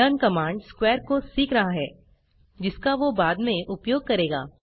learn command square को सीख रहा है जिसका वो बाद में उपयोग करेगा